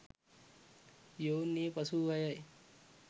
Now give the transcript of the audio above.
යොවුන් වියේ පසුවූ අයයි.